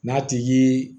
N'a tigi ye